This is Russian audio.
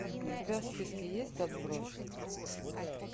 у тебя в списке есть отбросы